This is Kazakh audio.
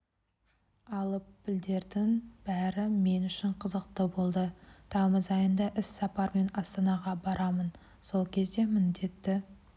алып пілдердің бәрі мен үшін қызықты болды тамыз айында іссапармен астанаға барамын сол кезде міндетті